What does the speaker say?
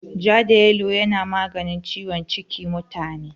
Ja da yalo yana maganin ciwon cikin mutane.